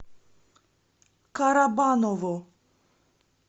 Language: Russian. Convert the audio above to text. карабаново